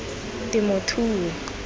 temothuo